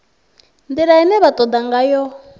ndila ine vha toda ngayo